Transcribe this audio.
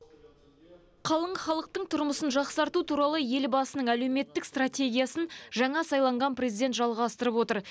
қалың халықтың тұрмысын жақсарту туралы елбасының әлеуметтік стратегиясын жаңа сайланған президент жалғастырып отыр